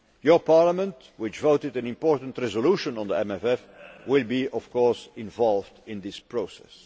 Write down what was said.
Your Parliament, which adopted an important resolution on the MFF, will of course be involved in this process.